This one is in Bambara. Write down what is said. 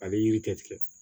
A bɛ yiri tigɛ